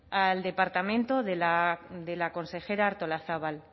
al departamento de la consejera artolazabal